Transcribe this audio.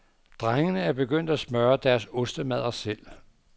Drengene er begyndt at smøre deres ostemadder selv.